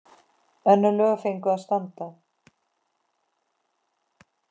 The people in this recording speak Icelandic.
Önnur lög fengju að standa.